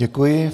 Děkuji.